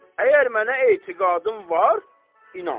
Əgər mənə etiqadın var, inan.